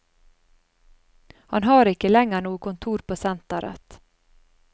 Han har ikke lenger noe kontor på senteret.